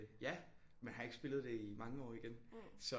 Ja men har ikke spillet det i mange år igen så